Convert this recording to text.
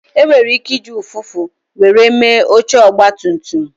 E nwere ike iji ụfụfụ were mee oche Ọgba tum tum